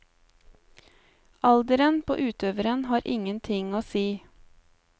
Alderen på utøveren har ingen ting å si.